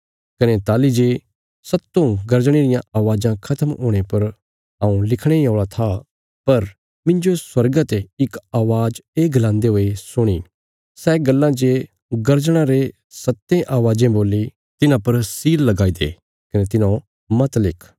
कने ताहली जे सत्तों गर्जणे रियां आवाज़ां खत्म हुणे पर हऊँ लिखणे इ औल़ा था पर मिन्जो स्वर्गा ते इक अवाज़ ये गलान्दे हुये सुणी सै गल्लां जे गर्जणां रे सत्तें आवाज़ें बोल्ली तिन्हां पर सील लगाई दे कने तिन्हौं मत लिख